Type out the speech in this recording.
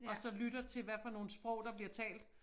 Og så lytter til hvad for nogle sprog der bliver talt